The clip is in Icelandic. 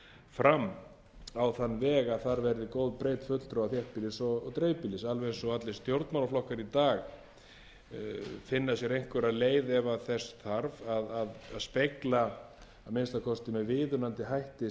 fram á þann veg að þar verði góð breidd fulltrúa þéttbýlis og dreifbýlis alveg eins og allir stjórnmálaflokkar í dag finna sér einhverjar leið ef þess þarf að spegla að minnsta kosti með viðunandi hætti